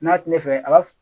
N'a ti ne fɛ a b'a fɔ